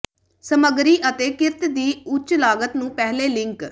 ਸਮੱਗਰੀ ਅਤੇ ਕਿਰਤ ਦੀ ਉੱਚ ਲਾਗਤ ਨੂੰ ਪਹਿਲੇ ਲਿੰਕ